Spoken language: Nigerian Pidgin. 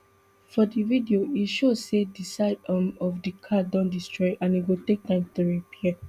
for di video e show say di side um of di car don destroy and e go take time to repair